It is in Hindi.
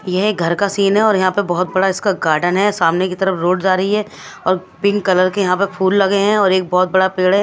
ये घर का सीन है और यहा पे बहोत बड़ा इसका गार्डन है सामने की तरफ रोड जा रही है और पिंक कलर के यहां पे फूल लगे हैं और एक बहोत बड़ा पेड़ है।